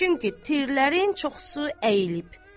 Çünki tirlərin çoxu əyilib.